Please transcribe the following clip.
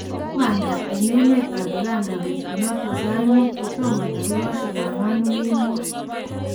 Kimada en emet ab Uganda betu noton sait muut kotomo tagigosiek agwan kemboi.